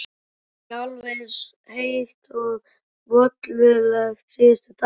Ekki alveg eins heitt og mollulegt og síðustu daga.